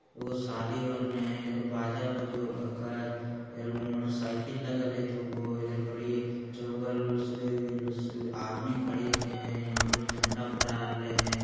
एगो शादी हो रहले हैं इधर बाजा बजु हकै इधर मोटरसाइकिल लगल दू होए इधर पड़ी चौबगल अ-अ-अ आदमी खड़ी हकै है यहाँ पर झंडा फहरा रहले हैं |